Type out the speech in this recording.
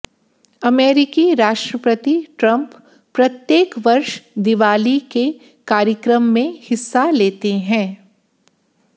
अमेरिकी राष्ट्रपति ट्रम्प प्रत्येक वर्ष दिवाली के कार्यक्रम में हिस्सा लेते हैं